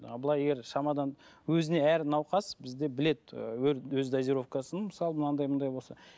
ал былай егер шамадан өзіне әр науқас бізде біледі і өз дозировкасын мысалы мынандай мынандай болса